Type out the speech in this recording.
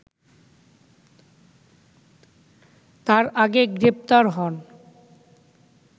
তার আগে গ্রেপ্তার হন